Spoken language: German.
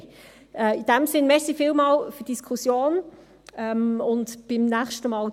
In diesem Sinne: Vielen Dank für die Diskussion und bis zum nächsten Mal.